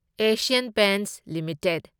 Asian Paints limited